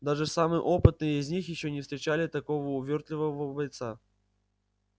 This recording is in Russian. даже самые опытные из них ещё не встречали такого увёртливого бойца